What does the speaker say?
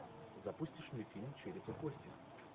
запустишь мне фильм череп и кости